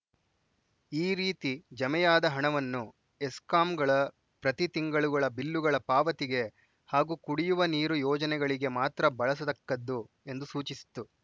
ಈ ರೀತಿ ಜಮೆಯಾದ ಹಣವನ್ನು ಎಸ್ಕಾಂಗಳ ಪ್ರತಿ ತಿಂಗಳುಗಳ ಬಿಲ್ಲುಗಳ ಪಾವತಿಗೆ ಹಾಗೂ ಕುಡಿಯುವ ನೀರು ಯೋಜನೆಗಳಿಗೆ ಮಾತ್ರ ಬಳಸತಕ್ಕದ್ದು ಎಂದು ಸೂಚಿಸಿತ್ತು